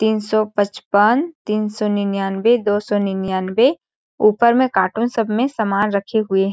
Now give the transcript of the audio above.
तीन सौ पचपन तीन सौ निन्यानबे दो सौ निन्यानबे ऊपर में कार्टून सब में समान रखे हुए --